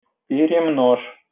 перенос